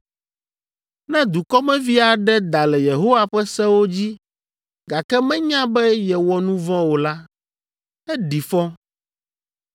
“ ‘Ne dukɔmevi aɖe da le Yehowa ƒe sewo dzi, gake menya be yewɔ nu vɔ̃ o la, eɖi fɔ.